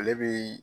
Ale bi